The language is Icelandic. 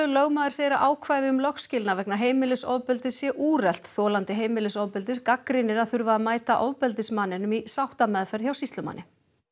lögmaður segir að ákvæði um lögskilnað vegna heimilisofbeldis sé úrelt þolandi heimilisofbeldis gagnrýnir að þurfa að mæta ofbeldismanninum í sáttameðferð hjá sýslumanni